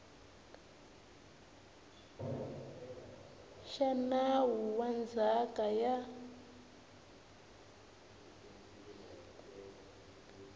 xa nawu wa ndzhaka ya